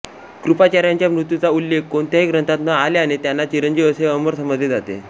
कृपाचार्यांच्या मृत्यूचा उल्लेख कोणत्याही ग्रंथात न आल्याने त्यांना चिरंजीव अमर समजले जाते